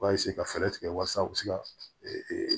U b'a ka fɛɛrɛ tigɛ walasa u bɛ se ka